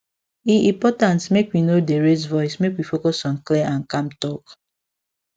e important make we no dey raise voice make we focus on clear and calm talk